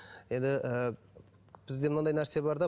енді ы бізде мынандай нәрсе бар да